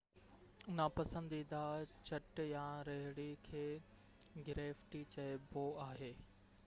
ناپسنديده چٽ يا رهڙي کي گريفٽي چئبو آهي